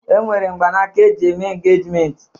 E nwere mgbanaka eji eme engejmenti